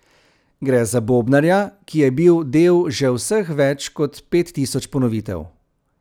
Gre za bobnarja, ki je bil del že vseh več kot pet tisoč ponovitev.